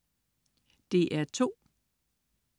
DR2: